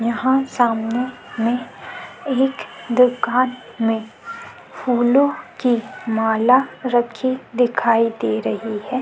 यहाँ सामने में एक दूकान में फूलो की माला रखी दिखाई दे रही है ।